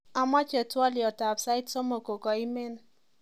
Amache twoliotab sait somok kokakoimen